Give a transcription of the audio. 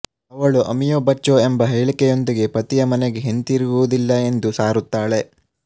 ಅವಳು ಅಮಿಯೊ ಬಚ್ಚೊ ಎಂಬ ಹೇಳಿಕೆಯೊಂದಿಗೆ ಪತಿಯ ಮನೆಗೆ ಹಿಂದಿರುಗುವುದಿಲ್ಲ ಎಂದು ಸಾರುತ್ತಾಳೆ